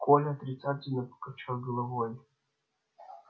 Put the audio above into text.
коля отрицательно покачал головой